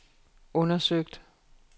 undersøgt